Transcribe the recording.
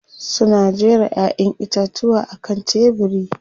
Suna jera Ƴaƴan itatuwa a kan tebiri.